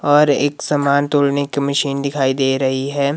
और एक सामान तोड़ने की मशीन दिखाई दे रही है।